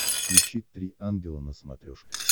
включи три ангела на смотрешке